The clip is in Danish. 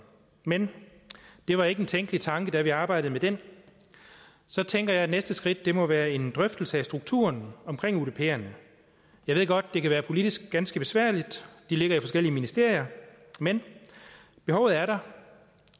men det var ikke en tænkelig tanke da vi arbejdede med den så tænker jeg at næste skridt må være en drøftelse af strukturen omkring udperne jeg ved godt det kan være politisk ganske besværligt de ligger i forskellige ministerier men behovet er der